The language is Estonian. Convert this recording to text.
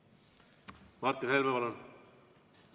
Martin Helme, palun!